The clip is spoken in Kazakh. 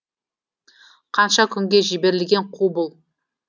қанша күнге жіберілген қу бұл